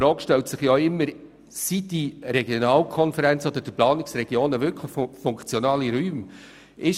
Die Frage, ob die Regionalkonferenzen oder die Planungsregionen wirklich funktionale Räume sind, stellt sich immer.